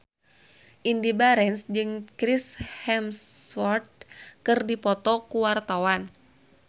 Indy Barens jeung Chris Hemsworth keur dipoto ku wartawan